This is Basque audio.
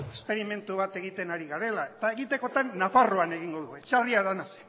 esperimentu bat egiten ari garela eta egitekotan nafarroan egingo dugu etxarri aranatzen